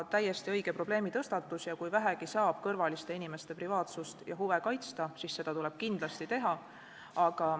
Täiesti õige probleemitõstatus ja kui vähegi saab kõrvaliste inimeste privaatsust ja huve kaitsta, siis tuleb seda kindlasti teha.